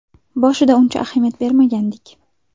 Boshida uncha ahamiyat bermagandik.